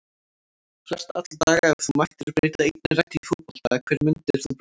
Flest alla daga Ef þú mættir breyta einni reglu í fótbolta, hverju myndir þú breyta?